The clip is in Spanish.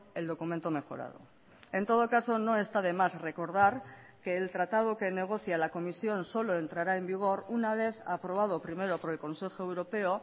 el documento mejorado en todo caso no está de más recordar que el tratado que negocia la comisión solo entrará en vigor una vez aprobado primero por el consejo europeo